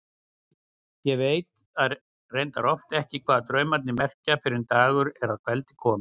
Ég veit reyndar oft ekki hvað draumarnir merkja fyrr en dagur er að kveldi kominn.